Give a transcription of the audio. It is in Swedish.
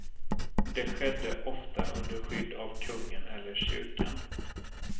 Det skedde ofta under skydd av kungen eller kyrkan.